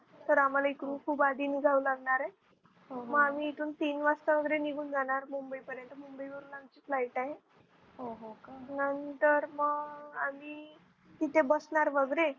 तर आम्हाला इकडून खूप आधी निघावं लागणार आहे. मग आम्ही इतून तीन वास्ता वगेरे निघून जाणार मुंबई पर्यंत मुंबई वरून आमची Flight आहे. नंतर मग आम्ही तिथे बसणार वगैरे.